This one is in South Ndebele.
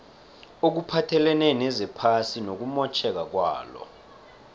okuphathelene nezephasi nokumotjheka kwalo